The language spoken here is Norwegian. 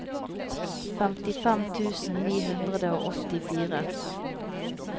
femtifem tusen ni hundre og åttifire